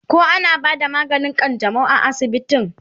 koh ana bada maganin kanjamau a asibitin?